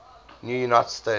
new united states